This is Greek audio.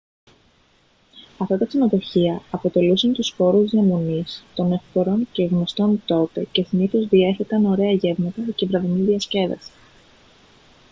αυτά τα ξενοδοχεία αποτελούσαν τους χώρους διαμονής των ευπόρων και γνωστών τότε και συνήθως διέθεταν ωραία γεύματα και βραδινή διασκέδαση